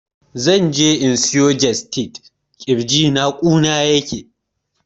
Zan je in siyo jestid, ƙirjina ƙuna yake